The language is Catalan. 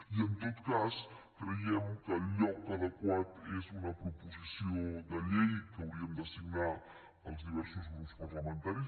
i en tot cas creiem que el lloc adequat és una proposició de llei que hauríem de signar els diversos grups parlamentaris